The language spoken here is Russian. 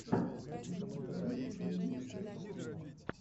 в ютюбе денис кей обзор